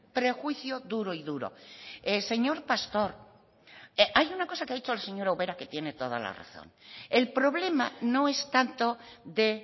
prejuicio duro y duro señor pastor hay una cosa que ha dicho la señora ubera que tiene toda la razón el problema no es tanto de